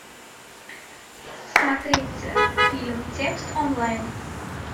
смотреть фильм текст онлайн